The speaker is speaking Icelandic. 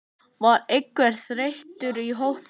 Var einhver þreyta í hópnum?